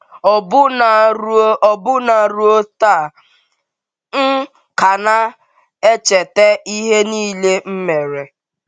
“ Ọbụna ruo Ọbụna ruo taa, m ka na - echeta ihe nile m mere.